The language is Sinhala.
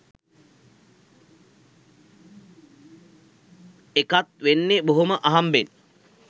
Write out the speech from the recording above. එකත් වෙන්නෙ බොහොම අහම්බෙන්